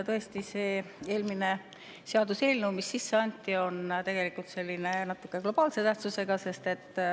Tõesti, see eelmine seaduseelnõu, mis sisse anti, on tegelikult globaalse tähtsusega.